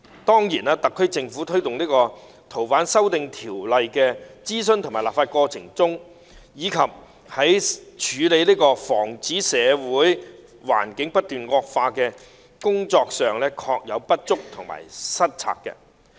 當然，特區政府在推動《逃犯條例》修訂的諮詢和立法過程中，以及處理和防止社會環境不斷惡化的工作上，確有不足及失策。